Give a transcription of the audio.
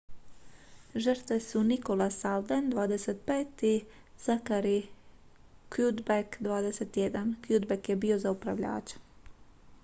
žrtve su nicholas alden 25 i zachary cuddeback 21. cuddeback je bio za upravljačem